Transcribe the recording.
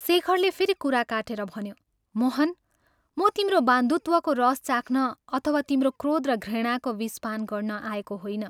शेखरले फेरि कुरा काटेर भन्यो, " मोहन, म तिम्रो बन्धुत्वको रस चाख्न अथवा तिम्रो क्रोध र घृणाको विष पान गर्न आएको होइन।